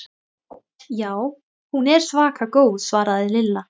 Já, hún er svaka góð svaraði Lilla.